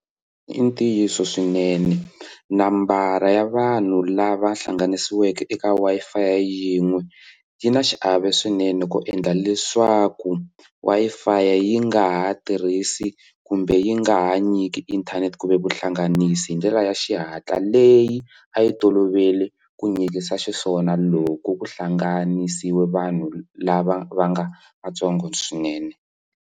I ntiyiso swinene nambara ya vanhu lava hlanganisiweke eka Wi-Fi yin'we yi na xiave swinene ku endla leswaku Wi-Fi yi nga ha tirhisi kumbe yi nga ha nyiki inthanete ku ve vuhlanganisi hi ndlela ya xihatla leyi a yi tolovele ku nyikisa xiswona loko ku hlanganisiwa vanhu lava va nga vatsongo swinene.